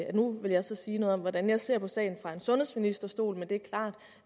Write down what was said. at nu vil jeg så sige noget om hvordan jeg ser på sagen fra en sundhedsministerstol men det